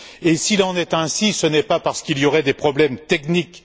Et s'il en est ainsi, ce n'est pas parce qu'il y aurait des problèmes techniques.